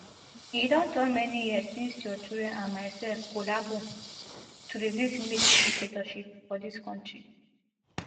e don turn many years since your children and myself collabo to resist military dictatorship for dis kontri